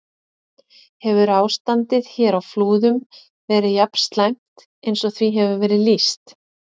Hefur ástandið hér á Flúðum verið jafn slæmt eins og því hefur verið lýst?